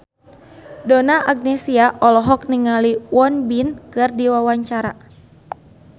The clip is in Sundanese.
Donna Agnesia olohok ningali Won Bin keur diwawancara